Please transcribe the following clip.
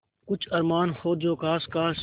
कुछ अरमान हो जो ख़ास ख़ास